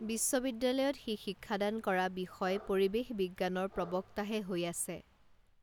বিশ্ববিদ্যালয়ত সি শিক্ষাদান কৰা বিষয় পৰিৱেশ বিজ্ঞানৰ প্ৰবক্তাহে হৈ আছে